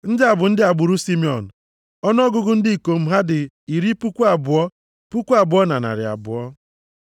Ndị a bụ ndị agbụrụ Simiọn. Ọnụọgụgụ ndị ikom ha dị iri puku abụọ, puku abụọ na narị abụọ (22,200).